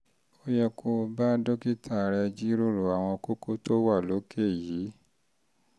ó yẹ kó o bá dókítà rẹ um jíròrò àwọn kókó tó wà um lókè yìí